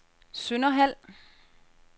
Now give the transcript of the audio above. Sønderhald